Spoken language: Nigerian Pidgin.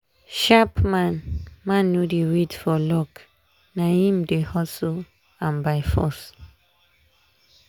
sharp man man no dey wait for luck na im dey hustle am by force.